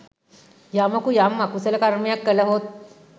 යමකු යම් අකුසල කර්මයක් කළහොත්